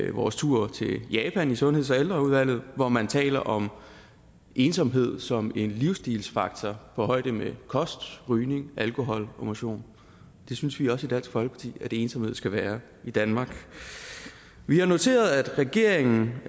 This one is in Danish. vores tur til japan med sundheds og ældreudvalget hvor man taler om ensomhed som en livsstilsfaktor på højde med kost rygning alkohol og motion det synes vi også i dansk folkeparti at ensomhed skal være i danmark vi har noteret at regeringen